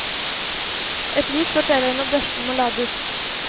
Et lys forteller når børsten må lades.